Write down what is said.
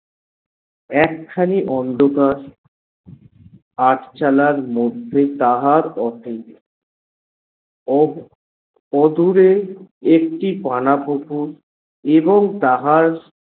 এক খানি অন্ধকার আট চালার মধ্যে তাহার office ও অদূরে একটি পানাপুকুর এবং তাহার।